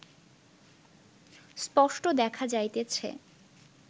স্পষ্ট দেখা যাইতেছে